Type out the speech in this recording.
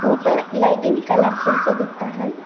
ऊपर lighting colourful सा दिखता है।